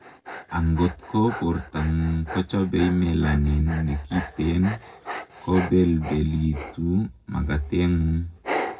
angot ko bortangung kochobei melanin nekiten, kobelbelitu makatengung